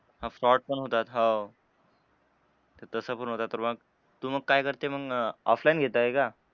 हां fraud पण होतात. हो. तसं पण होतं तर मग तू मग काय करते मग offline घेतोय का?